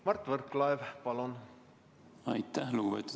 Mart Võrklaev, palun!